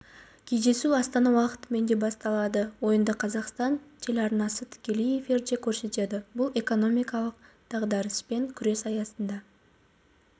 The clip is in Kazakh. кездесу астана уақытымен де басталады ойынды қазақстан телеарнасы тікелей эфирде көрсетеді бұл экономикалық дағдарыспен күрес аясында